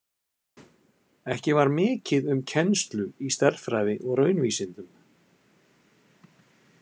Ekki var mikið um kennslu í stærðfræði og raunvísindum.